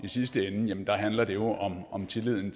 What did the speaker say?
sidste ende handler det jo om tilliden